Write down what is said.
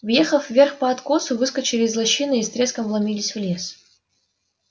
въехав вверх по откосу выскочили из лощины и с треском вломились в лес